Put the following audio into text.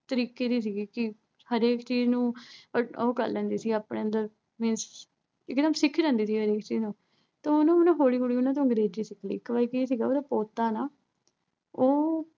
ਤਰੀਕੇ ਦੀ ਸੀਗੀ ਕਿ ਹਰੇਕ ਚੀਜ਼ ਨੂੰ ਉਹ ਕਰ ਲੈਂਦੀ ਸੀ ਆਪਣੇ ਅੰਦਰ ਵੀ means ਇੱਕ ਨਾ ਅਹ ਸਿੱਖ ਲੈਂਦੀ ਸੀ ਚੀਜ਼ ਨੂੰ ਤੇ ਉਹਨੂੰ ਨਾ ਅਹ ਹੌਲੀ ਹੌਲੀ ਉਹਨੇ ਨਾ ਅਹ ਅੰਗਰੇਜ਼ੀ ਸਿੱਖ ਲੀ। ਇੱਕ ਵਾਰੀ ਕੀ ਸੀਗਾ, ਉਹਦਾ ਪੋਤਾ ਨਾ ਅਹ ਉਹ